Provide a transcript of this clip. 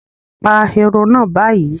Pa ehoro náà báyìí